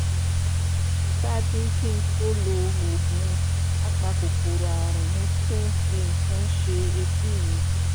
ṣáájú kí n tó lo oògùn apakòkòrò ààrùn mo tún fi nǹkan ṣe etí mi